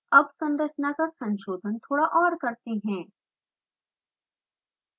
अब संरचना का संशोधन थोड़ा और करते हैं